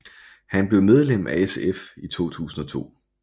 Han blev medlem af SF i 2002